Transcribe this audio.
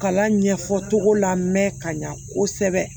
Kalan ɲɛfɔ cogo la mɛn ka ɲa kosɛbɛ